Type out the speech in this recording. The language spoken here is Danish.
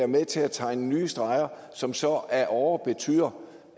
med til at tegne nye streger som så ad åre betyder